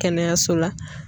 Kɛnɛyaso la.